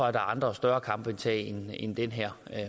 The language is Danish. er andre og større kampe at tage end den her